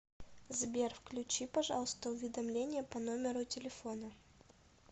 сбер включи пожалуйста уведомления по номеру телефона